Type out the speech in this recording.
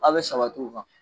Aw bɛ sabati o kan.